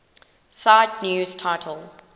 cite news title